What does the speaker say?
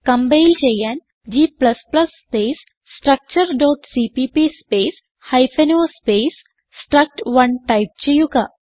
compile ചെയ്യാൻ g space structureസിപിപി space hyphen o space സ്ട്രക്ട്1 ടൈപ്പ് ചെയ്യുക